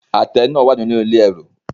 Àtẹ náà wà nínú ilé ẹrù.